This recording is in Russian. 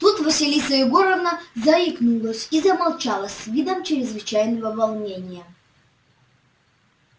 тут василиса егоровна заикнулась и замолчала с видом чрезвычайного волнения